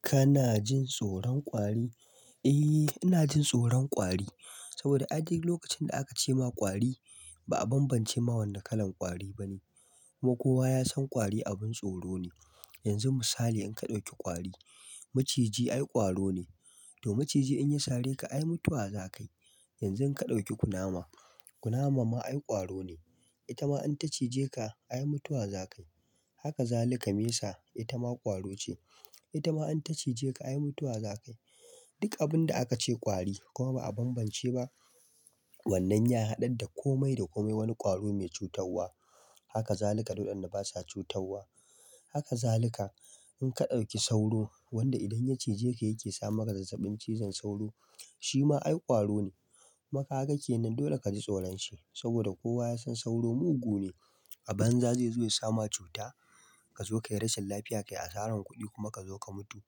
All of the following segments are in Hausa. Kana jin tsoron kwari? Eh, ina jin tsoron kwari saboda a duk lokacin da aka ce ma kwari ba a bambance ma wanne kalan kwari ba ne. Kuma kowa ya san kwari abin tsoro ne. Yanzu misali in ka ɗauki kwari, maciji ai ƙwaro ne. To maciji in ya sare ka ai mutuwa za ka yi. Yanzu in ka ɗauki kunama, kunama ma ai ƙwaro ne. Ita ma in ta cije ka ai mutuwa za ka yi. Haka zaluka mesa ita ma ƙwaro ce. Ita ma in ta cije ka ai mutuwa za ka yi. Duk abun da aka ce kwari kuma ba a bambance ba wannan ya haɗa da komai da komai wani ƙwaro mai cutarwa. Haka zalika duk wadanda basa cutarwa. Haka zalika in ka ɗauki sauro wanda idan ya cije ka yake sa maka zazzabin cizon sauro shi ma ai ƙwaro ne. Kuma kaga ke nan dole ka ji tsoron shi saboda kowa ya san sauro mugu ne. Abanza ze zo ya sama cuta kazo kai rashin lafiya kai asaran kudi kuma kazo ka mutu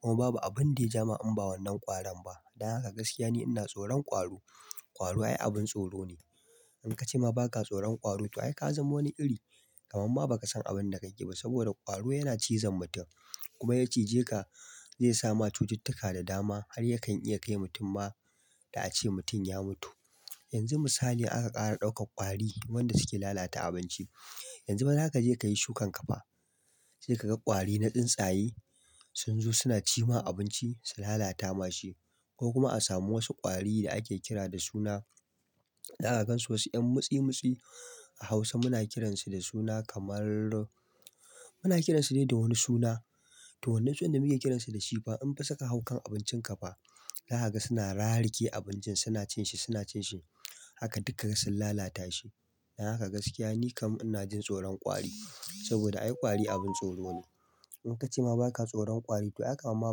kuma babu abin da ya ja ma in ba wannan ƙwaran ba. Dan haka gaskiya ni ina tsoron ƙwaro. Kwari ai abin tsoro ne. In ka ce ma ba ka tsoron ƙwaro to ai ka zama wani iri kaman ma ba ka san abinda kake ba saboda ƙwaro yana cizon mutum kuma ya cije ka zai sama cututtuka da dama har yakan iya kai mutum ma da ace mutum ya mutu. Yanzu misali aka ƙara ɗaukar ƙwari wanda suke lalata abinci. Yanzufa zaka ka je ka yi shukan kafa sai ka ga ƙwari na tsuntsaye sun zo suna ci ma abinci, su lalata mashi ko kuma a samu wasu ƙwari da ake kira da suna. Za ka gansu wasu 'yan mutsi-mutsi a Hausa muna kiransu da suna kamar muna kiransu dai da wani suna to wannan sunan da muke kiransu da shi fa in fasuka hau kan abincin kafa za ka ga suna rarike abincin suna cin shi suna cin shi. Haka duk ka ga sun lalata shi. Dan haka gaskiya ni kam ina jin tsoron ƙwari saboda ai ƙwari abin tsoro ne. In kacema baka tsoran kwari ai kaman ma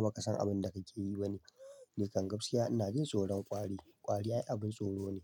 baka san abinda kakeyi bane nikan gabsiya ina jin tsoron ƙwari. Kwari ai abin tsoro ne.